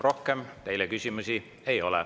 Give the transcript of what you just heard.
Rohkem teile küsimusi ei ole.